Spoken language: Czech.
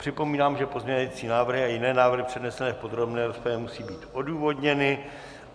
Připomínám, že pozměňovací návrhy a jiné návrhy přednesené v podrobné rozpravě musí být odůvodněny.